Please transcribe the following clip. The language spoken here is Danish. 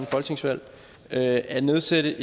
folketingsvalg at nedsætte